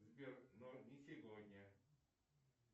сбер но не сегодня